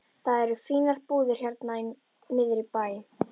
Það eru fínar búðir hérna niðri í bæ.